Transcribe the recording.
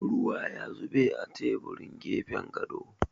Ruwa ya zube a teburin gefen gado.